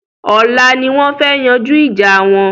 Ọlá ni wọn fẹ́ yanjú ìjà wọn